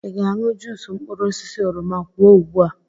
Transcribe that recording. Ị ga-aṅụ juusu mkpụrụ osisi oroma? Kwuo ugbu a!